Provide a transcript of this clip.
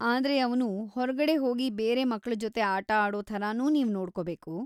ಆದ್ರೆ ಅವ್ನು ಹೊರ್ಗಡೆ ಹೋಗಿ ಬೇರೆ ಮಕ್ಳ ಜೊತೆ ಆಟ ಆಡೋ ಥರನೂ ನೀವ್‌ ನೋಡ್ಕೊಬೇಕು.